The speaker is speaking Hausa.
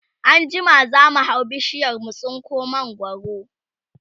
anjima zamu hau bishiyar mu tsinko mangwaro